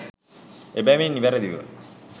එබැවින් නිවැරැදි ව